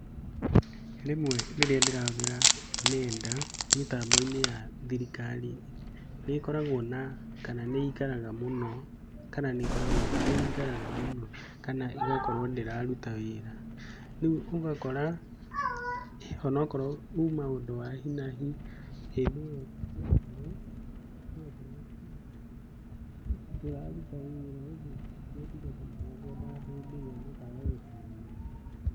Rĩmwe rĩrĩa ndĩrahũthĩra nenda, mĩtambo-inĩ ya thirikari, nĩ ĩkoragwo na kana nĩ ikaraga mũno, kana nĩkoragwo kana nĩ ikaraga mũno kana ĩgakorwo ndĩraruta wĩra. Ũguo ũgakora onakorwo uma ũndũ wa hi na hi, hĩndĩ ĩyo ũgakorwo nduraruta wĩra ũguo motungata marĩa ngwendaga hindĩ ĩyo makaga gũkinyanĩra.